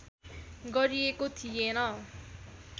गरिएको थिएन